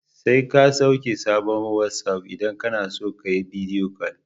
Sai ka sauke sabon wasi'of idan kana so ka yi bidiyo kol.